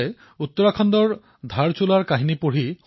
কিছু পদক্ষেপ গ্ৰহণ কৰিছেপূৰ্বে মই ধাৰচুলালৈ অহাযোৱা কৰিছিলো